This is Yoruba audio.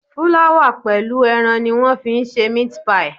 Fúláwà pẹ̀lú ẹran ni wọ́n fi ń ṣe meat pie.